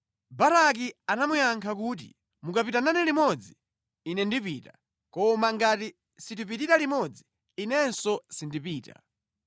Baraki anamuyankha kuti, “Mukapita nane limodzi ine ndipita. Koma ngati sitipitira limodzi, inenso sindipita.”